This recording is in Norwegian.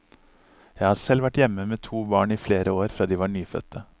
Jeg har selv vært hjemme med to barn i flere år fra de var nyfødte.